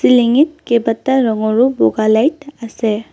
Ceiling ঙিত কেইবাটা ৰঙৰো বগা লাইট আছে।